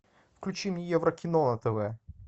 включи мне еврокино на тв